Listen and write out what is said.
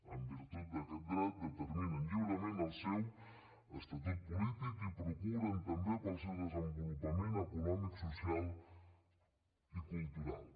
en virtut d’aquest dret determinen lliurement el seu estatut polític i procuren també pel seu desenvolupament econòmic social i cultural